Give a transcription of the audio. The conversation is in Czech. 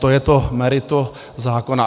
To je to meritum zákona.